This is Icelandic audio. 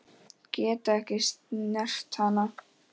Get ekki snert hana.